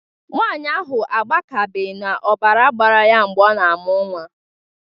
Nwanyị ahụ agbakebeghị n'ọbara gbara ya mgbe ọ na-amụ nnwa